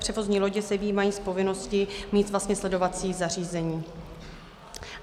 Převozní lodě se vyjímají z povinnosti mít vlastně sledovací zařízení.